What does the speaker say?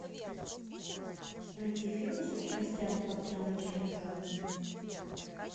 найти фильмы с участием адриано челентано